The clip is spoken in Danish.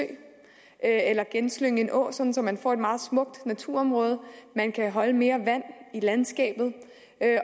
eller genslynge en å sådan at man får et meget smukt naturområde man kan holde mere vand i landskabet